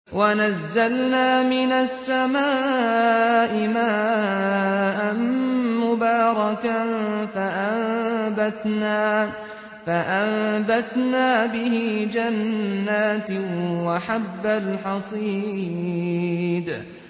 وَنَزَّلْنَا مِنَ السَّمَاءِ مَاءً مُّبَارَكًا فَأَنبَتْنَا بِهِ جَنَّاتٍ وَحَبَّ الْحَصِيدِ